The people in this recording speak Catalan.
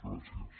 gràcies